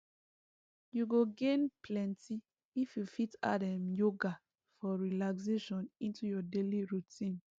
you go gain plenty if you fit add um yoga for relaxation into your daily routine